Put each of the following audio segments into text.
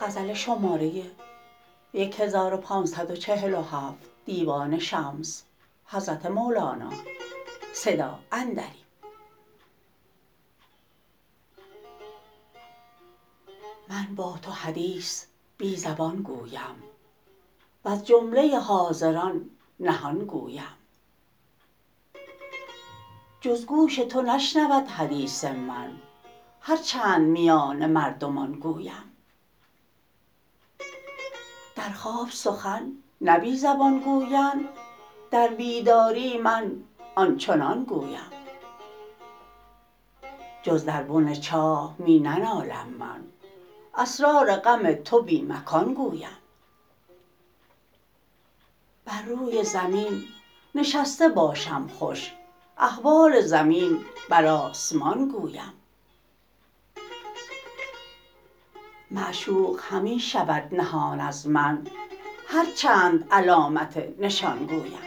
من با تو حدیث بی زبان گویم وز جمله حاضران نهان گویم جز گوش تو نشنود حدیث من هر چند میان مردمان گویم در خواب سخن نه بی زبان گویند در بیداری من آن چنان گویم جز در بن چاه می ننالم من اسرار غم تو بی مکان گویم بر روی زمین نشسته باشم خوش احوال زمین بر آسمان گویم معشوق همی شود نهان از من هر چند علامت نشان گویم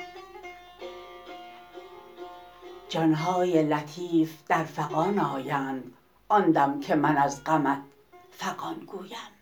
جان های لطیف در فغان آیند آن دم که من از غمت فغان گویم